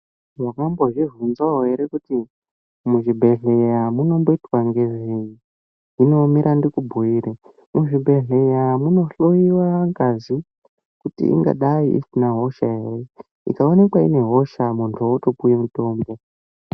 Wakambozvibvunzawo ere kuti muzvibhehlera mumboitwa ngezvei mira ndikubwuire muzvibhedhleya munohloiwe ngazi kuti aina hosha ere ikaonekwa ine hosha munhu wotopuwe mutombo.